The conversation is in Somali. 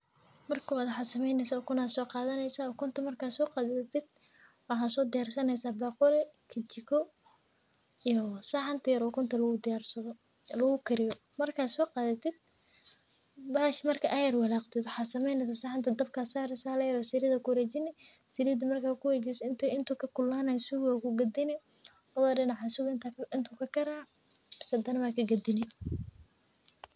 Marka kowad ukun ayan soqadaya ukunta marka saxanta yar oo ukunta yar marka aa yar walaqtid waxaa sameynesa saxanta dabka aya sari kadib waa ka gadine.